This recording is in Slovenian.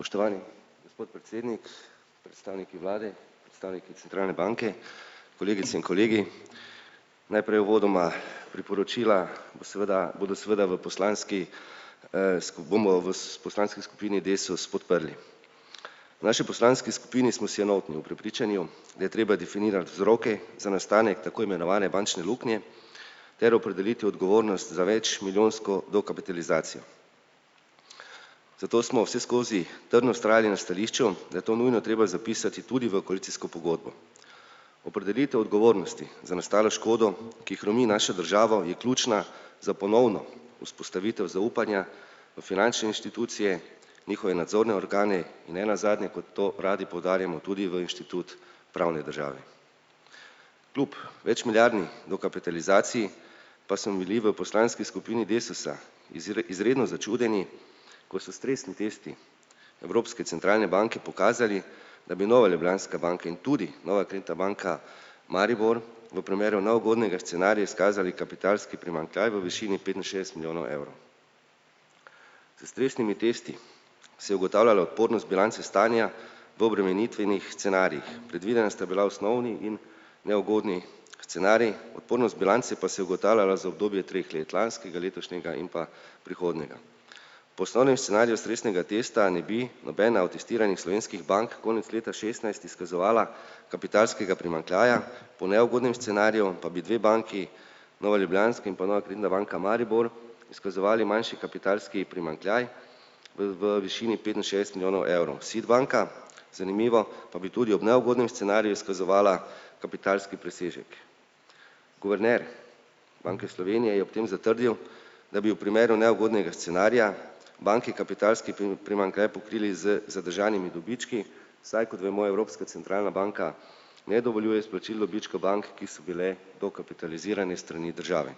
Spoštovani gospod predsednik, predstavniki vlade, predstavniki centralne banke, kolegice in kolegi. Najprej uvodoma, priporočila bo seveda bodo seveda v poslanski, bomo vas poslanski skupini Desus podprli. V naši poslanski skupini smo si enotni v prepričanju, da je treba definirati vzroke za nastanek tako imenovane bančne luknje ter opredeliti odgovornost za večmilijonsko dokapitalizacijo. Zato smo vseskozi trdno vztrajali na stališču, da je to nujno treba zapisati tudi v koalicijsko pogodbo. Opredelitev odgovornosti za nastalo škodo, ki hromi našo državo, je ključna za ponovno vzpostavitev zaupanja v finančne inštitucije, njihove nadzorne organe in nenazadnje, kot to radi poudarjamo, tudi v inštitut pravne države. Klub večmilijardni dokapitalizaciji pa smo bili v poslanski skupini Desusa izredno začudeni, ko so stresni testi Evropske centralne banke pokazali, da bi Nova Ljubljanska banka in tudi Nova Kreditna banka Maribor v primeru neugodnega scenarija izkazali kapitalski primanjkljaj v višini petinšestdeset milijonov evrov. S stresnimi testi se je ugotavljalo odpornost bilance stanja v obremenitvenih scenarijih. Predvidena sta bila osnovni in neugodni scenarij, odpornost bilance pa se je ugotavljala za obdobje treh let lanskega, letošnjega in pa prihodnjega. Poslovnem scenariju stresnega testa ne bi nobena od testiranih slovenskih bank konec leta šestnajst izkazovala kapitalskega primanjkljaja, po neugodnem scenariju pa bi dve banki, Nova Ljubljanska in pa Nova Kreditna banka Maribor, izkazovali manjši kapitalski primanjkljaj v v višini petinšestdeset milijonov evrov. SID banka, zanimivo, pa bi tudi ob neugodnem scenariju izkazovala kapitalski presežek. Guverner Banke Slovenije je ob tem zatrdil, da bi v primeru neugodnega scenarija banki kapitalski primanjkljaj pokrili z zadržanimi dobički, saj, kot vemo, Evropska centralna banka ne dovoljuje izplačil dobička bank, ki so bile dokapitalizirane s strani države.